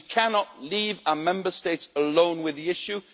We cannot leave our Member States alone with the issue.